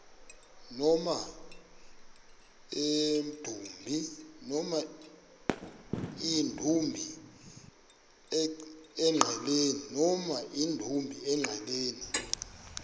koma emdumbi engqeleni